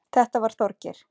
Þetta var Þorgeir.